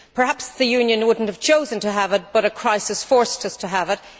Perhaps the Union would not have chosen to have it, but a crisis forced us to have it.